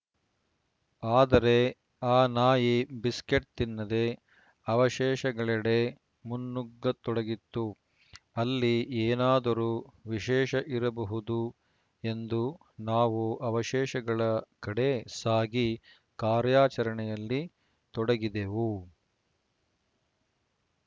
ಆದರೆ ಆ ನಾಯಿ ಬಿಸ್ಕೆಟ್‌ ತಿನ್ನದೆ ಅವಶೇಷಗಳೆಡೆ ಮುನ್ನುಗ್ಗತೊಡಗಿತ್ತು ಅಲ್ಲಿ ಏನಾದರೂ ವಿಶೇಷ ಇರಬಹುದು ಎಂದು ನಾವು ಅವಶೇಷಗಳ ಕಡೆ ಸಾಗಿ ಕಾರ್ಯಾಚರಣೆಯಲ್ಲಿ ತೊಡಗಿದೆವು